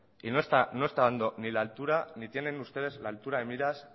y no está dando ni la altura ni tienen ustedes la altura de miras